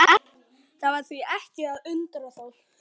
Það var því ekki að undra þótt